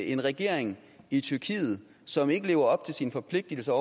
en regering i tyrkiet som ikke lever op til sine forpligtigelser